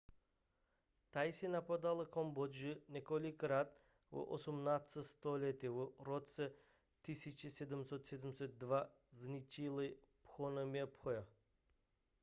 thajci napadli kambodžu několikrát v 18. století a v roce 1772 zničili phnompenh